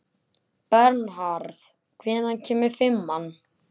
Bernharð, hvenær kemur fimman?